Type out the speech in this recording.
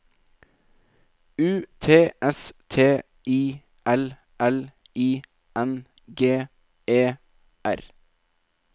U T S T I L L I N G E R